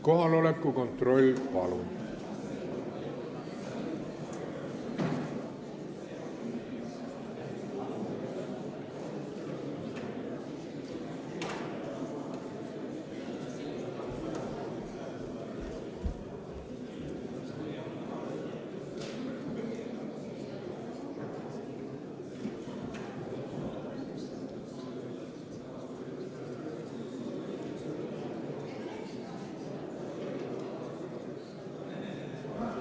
Kohaloleku kontroll, palun!